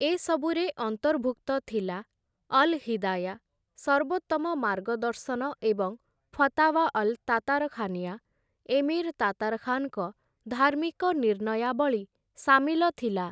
ଏସବୁରେ ଅନ୍ତର୍ଭୁକ୍ତ ଥିଲା ଅଲ୍‌ ହିଦାୟା, ସର୍ବୋତ୍ତମ ମାର୍ଗଦର୍ଶନ ଏବଂ ଫତାୱା ଅଲ୍‌ ତାତାରଖାନିଆ, ଏମିର୍ ତାତାରଖାନ୍‌ଙ୍କ ଧାର୍ମିକ ନିର୍ଣ୍ଣୟାବଳୀ ସାମିଲ ଥିଲା ।